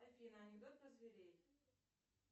афина анекдот про зверей